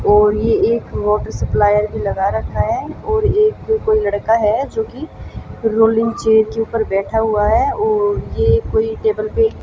और ये एक वॉटर सप्लायर भी लगा रखा है और एक कोई लड़का है जो कि रोलिंग चेयर के ऊपर बैठा हुआ है और ये कोई टेबल पे --